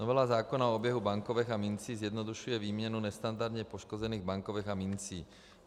Novela zákona o oběhu bankovek a mincí zjednodušuje výměnu nestandardně poškozených bankovek a mincí.